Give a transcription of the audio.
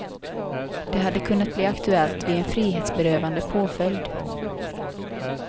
Det hade kunnat bli aktuellt vid en frihetsberövande påföljd.